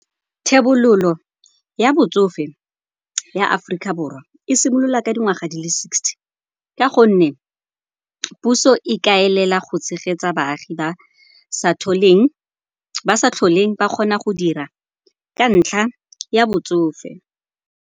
Thebololo ya botsofe ya Aforika Borwa e simolola ka dingwaga di le sixty ka gonne puso e kaelela go tshegetsa baagi ba sa tlholeng ba kgona go dira ka ntlha ya botsofe.